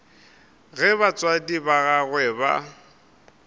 ge batswadi ba gagwe ba